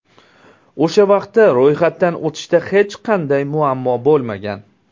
O‘sha vaqtda ro‘yxatdan o‘tishda hech qanday muammo bo‘lmagan.